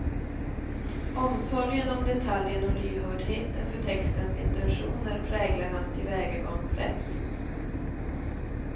Omsorgen om detaljen och lyhördheten för textens intentioner präglar hans tillvägagångssätt.